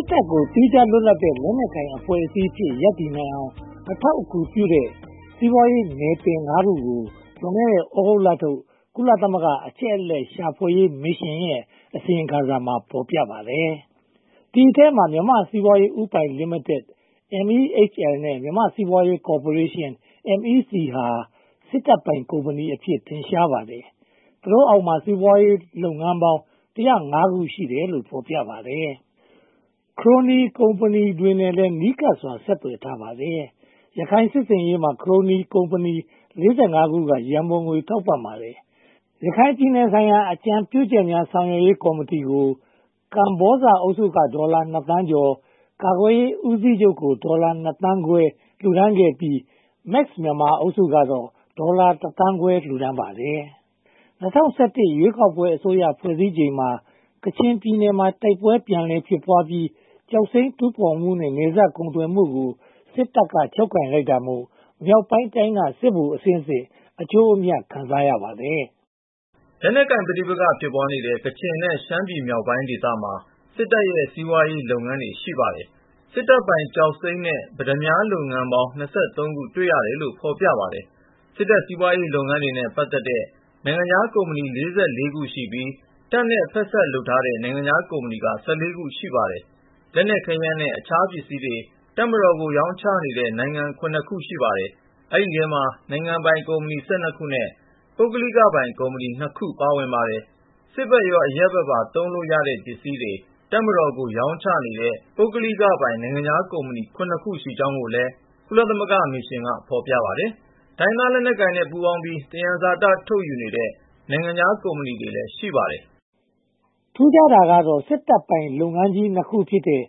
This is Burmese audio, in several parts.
စ်တပ်ကို သီးခြားလွတ်လပ်တဲ့ လက်နက်ကိုင်အဖွဲ့အစည်းအဖြစ် ရပ်တည်နိုင်အောင် အထောက်အကူပြုတဲ့ စီးပွားရေးနယ်ပယ် (၅) ခုကို လွန်ခဲ့တဲ့ သြဂုတ်လထုတ် ကုလသမဂ္ဂ အချက်အလက် ရှာဖွေရေးမစ်ရှင်ရဲ့ အစီရင်ခံစာမှာ ဖော်ပြပါတယ်။ ဒီအထဲမှာ မြန်မာ့စီးပွားရေးဦးပိုင်လိမိတက် (MEHL) နဲ့ မြန်မာ့စီးပွားရေးကော်ပိုရေးရှင်း (MEC) ဟာ စစ်တပ်ပိုင်ကုမ္ပဏီအဖြစ် ထင်ရှားပါတယ်။ သူတို့အောက်မှာ စီးပွားရေးလုပ်ငန်းပေါင်း (၁၀၅) ခု ရှိတယ်လို့ ဖော်ပြထားပါတယ်။ ခရိုနီကုမ္ပဏီတွေနဲ့လည်း နီးကပ်စွာ ဆက်သွယ်ထားပါတယ်။ ရခိုင်စစ်ဆေးရေးမှာ ခရိုနီကုမ္ပဏီ (၄၅) ခုက ရန်ပုံငွေ ထောက်ပံ့ထားပါတယ်။ ရခိုင်ပြည်နယ်ဆိုင်ရာ အကြံပြုချက်များ ဆောင်ရွက်ရေးကော်မတီကို ကမ္ဘောဇအုပ်စုက ဒေါ်လာ (၂) သန်းကျော်၊ ကာကွယ်ရေးဦးစီးချုပ်ကို ဒေါ်လာ (၂) သန်းခွဲ လှူဒါန်းခဲ့ပြီး၊ Max Myanmar အုပ်စုကတော့ ဒေါ်လာ (၁) သန်းခွဲ လှူဒါန်းပါတယ်။ ၂၀၁၁ ရွေးကောက်ပွဲအစိုးရ ဖွဲ့စည်းချိန်မှာ ကချင်ပြည်နယ်မှာ တိုက်ပွဲပြန်လည်ဖြစ်ပွားပြီး ကျောက်စိမ်းတူးဖော်မှုနဲ့ နယ်စပ်ကုန်သွယ်မှုကို စစ်တပ်က ချုပ်ကိုင်လိုက်တာမို့ မြောက်ပိုင်းတိုင်းက စစ်ဗိုလ်အဆင့်ဆင့် အကျိုးအမြတ် ရရှိပါတယ်။ လက်နက်ကိုင်ပဋိပက္ခ ဖြစ်ပွားနေတဲ့ ကချင်နဲ့ ရှမ်းပြည်နယ်မြောက်ပိုင်းမှာ စစ်တပ်ရဲ့ စီးပွားရေးလုပ်ငန်းတွေ ရှိပါတယ်။ စစ်တပ်ပိုင်ကျောက်စိမ်းနဲ့ ပတ္တမြားလုပ်ငန်းပေါင်း (၂၃) ခု တွေ့ရတယ်လို့ ဖော်ပြပါတယ်။ စစ်တပ်စီးပွားရေးလုပ်ငန်းတွေနဲ့ ပတ်သက်တဲ့ နိုင်ငံခြားကုမ္ပဏီ (၄၄) ခု ရှိပြီး၊ တပ်နဲ့ဖက်စပ်လုပ်ထားတဲ့ နိုင်ငံခြားကုမ္ပဏီက (၁၄) ခု ရှိပါတယ်။ လက်နက်ခဲယမ်းနဲ့ အခြားပစ္စည်းတွေ တပ်မတော်ကို ရောင်းချနေတဲ့ နိုင်ငံ (၇) နိုင်ငံ ရှိပါတယ်။ ဒီအထဲမှာ နိုင်ငံပိုင်ကုမ္ပဏီ (၁၂) ခုနဲ့ ပုဂ္ဂလိကပိုင်ကုမ္ပဏီ (၂) ခုပါ ပါဝင်ပါတယ်။ စစ်ဘက်ရော အရပ်ဘက်ပါသုံးလို့ ရတဲ့ပစ္စည်းတွေ တပ်မတော်ကို ရောင်းချနေတဲ့ ပုဂ္ဂလိကပိုင် နိုင်ငံခြားကုမ္ပဏီ (၇) ခု ရှိကြောင်းကိုလည်း ကုလသမဂ္ဂမစ်ရှင်က ဖော်ပြထားပါတယ်။ တိုင်းရင်းသားလက်နက်ကိုင်နဲ့ ပူးပေါင်းပြီး သဘာဝသယံဇာတ ထုတ်ယူနေတဲ့ နိုင်ငံခြားကုမ္ပဏီလည်း ရှိပါတယ်။ ထူးခြားတာကတော့ စစ်တပ်ပိုင်လုပ်ငန်းကြီး (၂) ခု ဖြစ်တဲ့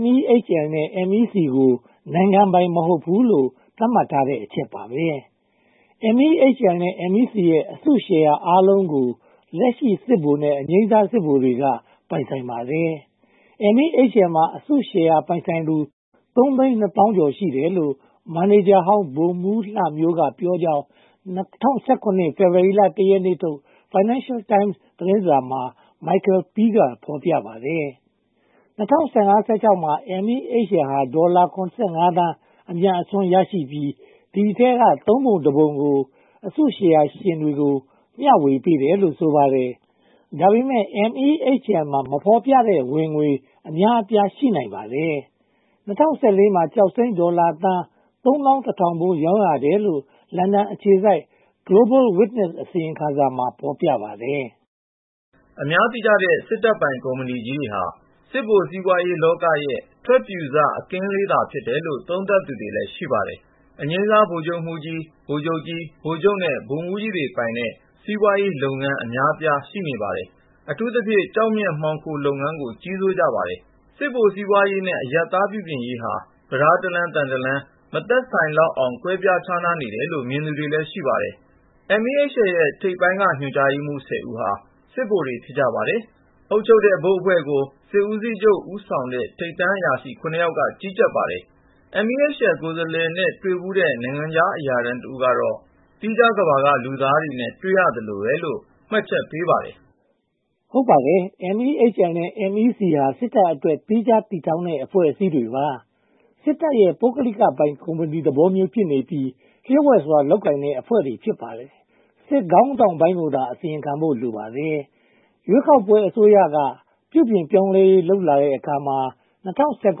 MEHL နဲ့ MEC ကို နိုင်ငံပိုင် မဟုတ်ဘူးလို့ သတ်မှတ်ထားတဲ့ အချက်ပါပဲ။ MEHL နဲ့ MEC ရဲ့ အစုရှယ်ယာားလုံးကို လက်ရှိစစ်ဗိုလ်နဲ့ အငြိမ်းစား စစ်ဗိုလ်တွေက ပိုင်ဆိုင်ပါတယ်။ MEHL မှာ အစုရှယ်ယာ ပိုင်ဆိုင်သူ (၃၂၀,၀၀၀) ကျော်ရှိတယ်လို့ မန်နေဂျာ ဗိုလ်မှူးဟောင်းလှမျိုးက ပြောကြောင်း ၂၀၁၇ ဖေဖေါ်ဝါရီလ (၁) ရက်နေ့ထုတ် Financial Times သတင်းစာမှာ Michael Peel က ဖော်ပြပါတယ်။ ၂၀၁၅-၁၆ မှာ MEHL ဟာ ဒေါ်လာ (၇၅) သန်း အမြတ်အစွန်း ရရှိပြီး၊ ဒီအထဲမှာ သုံးပုံတပုံကို အစုရှယ်ယာရှင်တွေကို မျှဝေပေးတယ်လို့ ဆိုပါတယ်။ ဒါပေမဲ့ MEHL မှာ မဖော်ပြတဲ့ဝင်ငွေ အများအပြား ရှိနိုင်ပါတယ်။ ၂၀၁၄ မှာ ကျောက်စိမ်း ဒေါ်လာသန်း (၃၁,၀၀၀) ဖိုး ရောင်းရတယ်လို့ လန်ဒန်အခြေစိုက် Global Witness အစီရင်ခံစာမှာ ဖော်ပြထားပါတယ်။ အများသိကြတဲ့ စစ်တပ်ပိုင်ကုမ္ပဏီကြီးတွေက စစ်ဗိုလ် စီးပွားရေးလောကရဲ့ ထွက်ပြုစ အကင်းလေးသာ ဖြစ်တယ်လို့ သုံးသပ်သူတွေလည်း ရှိပါတယ်။ အငြိမ်းစား ဗိုလ်ချုပ်မှူးကြီး၊ ဗိုလ်ချုပ်ကြီး၊ ဗိုလ်ချုပ်နဲ့ ဗိုလ်မှူးကြီးတွေပိုင်တဲ့ စီးပွားရေးုလုပ်ငန်း အများအပြား ရှိပါတယ်။ အထူးသဖြင့် ကျောက်မျက်မှောင်ခိုလုပ်ငန်းကို ကြီးစိုးကြပါတယ်။ စစ်ဗိုလ်စီးပွားရေးနဲ့ အရပ်သားပြုပြင်ရေးဟာ ပြဒါးတလမ်း၊ သံတလမ်း မသက်ဆိုင်လောက်အောင် ကွဲပြားခြားနားနေတယ်လို့ မြင်သူတွေလည်း ရှိပါတယ်။ MEHL ကိုယ်စားလှယ်နဲ့ တွေ့ဖူးတဲ့ နိုင်ငံခြားအရာထမ်းတဦးကတော့ သီးခြားကမ္ဘာက လူသားတွေနဲ့ တွေ့ရသလိုပဲလို့ မှတ်ချက်ချထားပါတယ်။ ဟုတ်ပါတယ်။ MEHL နဲ့ MIC ဟာ စစ်တပ်အတွက် သီးခြားတည်ဆောက်ထားတဲ့ အဖွဲ့အစည်းတွေပါ။ စစ်တပ်ရဲ့ ပုဂ္ဂလိကပိုင် ကုမ္ပဏီသဘောမျိုးဖြစ်နေပြီး၊ လျှို့ဝှက်စွာလုပ်ကိုင်တဲ့ အဖွဲ့တွေ ဖြစ်ပါတယ်။ စစ်ခေါင်းဆောင်ပိုင်းကိုသာ အစီရင်ခံဖို့ လိုပါတယ်။ ရွေးကောက်ပွဲအစိုးရက ပြုပြင်ရေးလုပ်လာတဲ့အခါမှာ (၂၀၁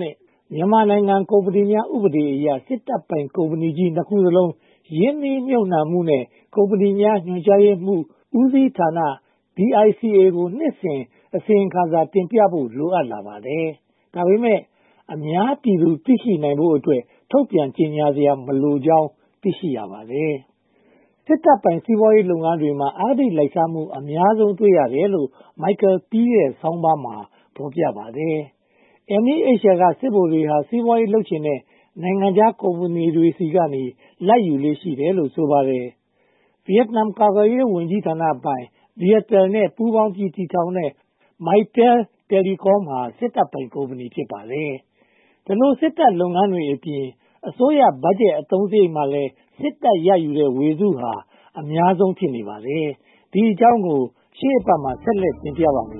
၇) မြန်မာနိုင်ငံများကုမ္ပဏီများ ဥပဒေအရ စစ်တပ်ပိုင်ကုမ္ပဏီကြီး (၂) ခုစလုံး ရင်းနှီးမြုပ်နံှမှုနှင့် ကုမ္ပဏီများ ညွှန်ကြားမှုဦးစီးဌာန (DICA) ကို နှစ်စဉ်အစီရင်ခံစာ တင်ပြဖို့ လိုအပ်လာပါတယ်။ ဒါပေမဲ့ အများပြည်သူသိရှိဖို့အတွက် ထုတ်ပြန်ကြေညာစရာ မလိုကြောင်း သိရှိရပါတယ်။ စစ်တပ်ပိုင်စီးပွားရေးလုပ်ငန်းတွေမှာ အဂတိလိုက်စားမှု အများဆုံး တွေ့ရတယ်လို့ Michael Peel ရဲ့ သတင်းဆောင်းပါးမှာ ဖော်ပြပါတယ်။ MEHL က စစ်ဗိုလ်တွေဟာ စီးပွားရေးလုပ်ချင်တဲ့ နိုင်ငံခြားကုမ္ပဏီဆီက လာဘ်ယူလေ့ ရှိတယ်လို့ ဆိုပါတယ်။ ဗိယက်နမ်ကာကွယ်ရေးဝန်ကြီးဌာနပိုင်၊ Viettel နဲ့ ပူးပေါင်းပြီး တည်ထောင်တဲ့ Mytel Telecom ဟာ စစ်တပ်ပိုင်ကုမ္ပဏီ ဖြစ်ပါတယ်။ ဒီလို စစ်တပ်လုပ်ငန်းတွေအပြင် အစိုးရဘတ်ဂျက် အသုံးစရိတ်မှာလည်း စစ်တပ်ရယူတဲ့ ဝေစုဟာ အများဆုံး ဖြစ်နေပါတယ်။ ဒီအကြောင်းကို ရှေ့အပတ်မှာ ဆက်လက်တင်ဆက်ပါမယ်